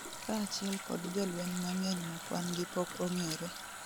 kaachiel kod jolweny mang'eny ma kwan'gi pok ongere